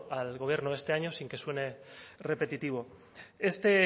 al gobierno este año sin que suene repetitivo este